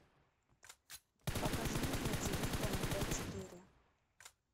покажи мне на тиви тнт четыре